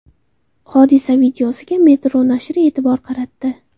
Hodisa videosiga Metro nashri e’tibor qaratdi .